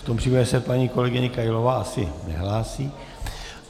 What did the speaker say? V tom případě se paní kolegyně Kailová asi nehlásí.